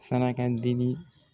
Saraka deli